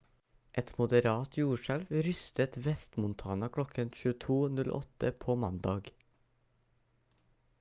et moderat jordskjelv rystet vest-montana kl. 22:08 på mandag